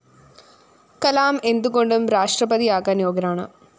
കലാം എന്തു കൊണ്ടും രാഷ്ട്രപതിയാകാന്‍ യോഗ്യനാണ്